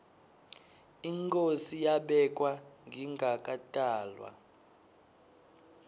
inkhosi yabekwa ngingakatalwa